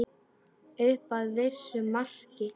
Upp að vissu marki.